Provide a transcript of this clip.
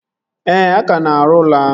Ee, a ka na-arụ ụlọ ahụ